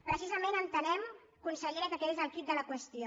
precisament entenem consellera que aquest és el quid de la qüestió